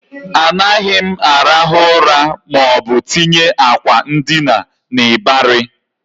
Anaghị arahu ura maọbụ tinye akwa ndina n'ịbarị